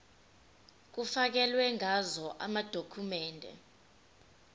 kufakelwe ngazo amadokhumende